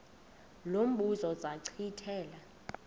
lo mbuzo zachithela